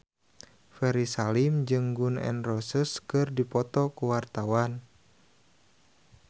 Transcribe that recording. Ferry Salim jeung Gun N Roses keur dipoto ku wartawan